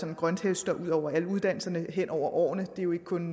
en grønthøster over alle uddannelser hen over årene det er jo ikke kun